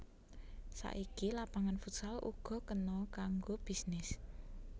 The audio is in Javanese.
Saiki lapangan futsal uga kena kanggo bisnis